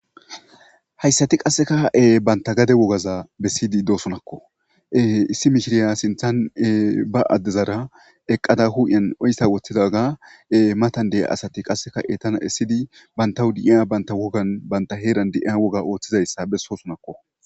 hayssati qassekae banta gade wogaza bessiydi doosonakko issi mishiriya sinthan ba addezara eqqada huu7en oyssa woththidaga matan dea asati qasseka e tana essidi bantahudi7iya banta wogan banta heeran di7iya woga ooththizayssa bessosonakko